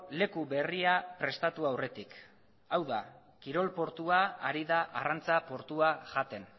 leku berria prestatu aurretik hau da kirol portua ari da arrantza portua jaten